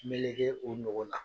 Meleke o nogo la.